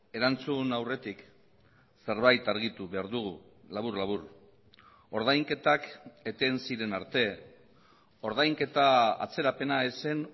erantzun aurretik zerbait argitu behar dugu labur labur ordainketak eten ziren arte ordainketa atzerapena ez zen